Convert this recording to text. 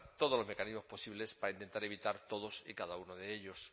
todos los mecanismos posibles para intentar evitar todos y cada uno de ellos